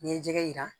N'i ye jɛgɛ jira